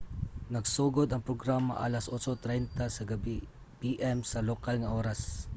nagsugod ang programa alas 8:30 p.m. sa lokal nga oras 15.00 utc